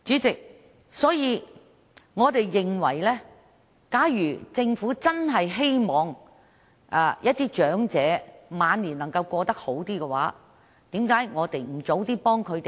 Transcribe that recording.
主席，我們認為，假如政府真的希望讓長者的晚年能夠過得好一點，為何我們不及早幫助他們呢？